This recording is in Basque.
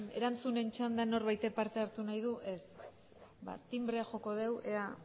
erantzunen txandan norbaitek parte hartu nahi du ez ba tinbrea joko dugu ea